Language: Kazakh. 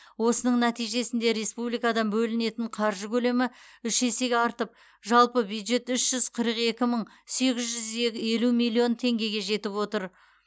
осының нәтижесінде республикадан бөлінетін қаржы көлемі үш есеге артып жалпы бюджет үш жүз қырық екі мың сегіз жүз елу миллион теңгеге жетіп отыр